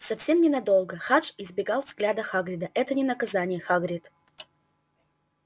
совсем ненадолго хадж избегал взгляда хагрида это не наказание хагрид